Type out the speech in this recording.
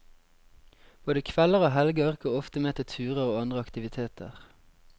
Både kvelder og helger går ofte med til turer og andre aktiviteter.